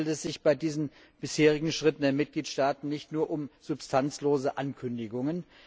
Handelt es sich bei diesen bisherigen Schritten der Mitgliedstaaten nicht nur um substanzlose Ankündigungen?